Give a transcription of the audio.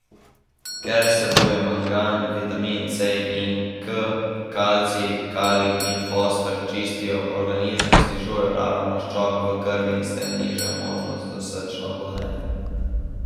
Ker vsebujejo mangan, vitamina C in K, kalcij, kalij in fosfor, čistijo organizem, znižujejo raven maščobe v krvi in s tem nižajo možnost za srčna obolenja.